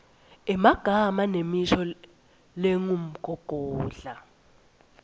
emagama nemisho lengumgogodla